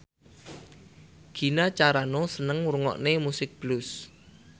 Gina Carano seneng ngrungokne musik blues